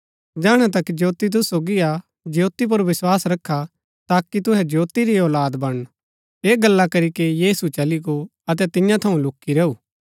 जैहणै तक ज्योती तूसु सोगी हा ज्योती पुर विस्वास रखा ताकि तूहै ज्योती री औलाद बनण ऐह गल्ला करीके यीशु चली गो अतै तियां थऊँ लूकी रैऊ